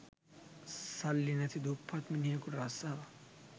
සල්ලි නැති දුප්පත් මිනිහෙකුට රස්සාවක්